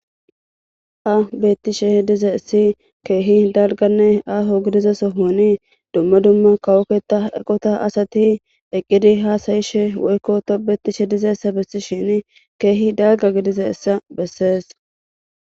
Tawu bettishshe dizayiss kehi dalgga ahoo goddiza sohonni dumma dumma kawo ketta eqota asati eqqidi hasayishshe woyikko tobeyishshe dizayissa besishshinn kehi dalgga gididayissa besses.